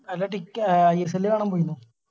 അല്ല ടിക്ക ISL കാണാൻ പോയിന്നോ